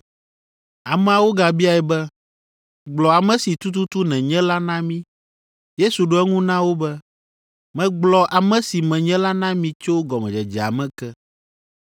Ameawo gabiae be, “Gblɔ ame si tututu nènye la na mi.” Yesu ɖo eŋu na wo be, “Megblɔ ame si menye la na mi tso gɔmedzedzea me ke.